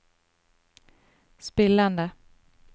spillende